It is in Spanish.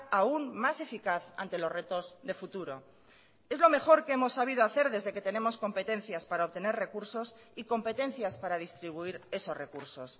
aún más eficaz ante los retos de futuro es lo mejor que hemos sabido hacer desde que tenemos competencias para obtener recursos y competencias para distribuir esos recursos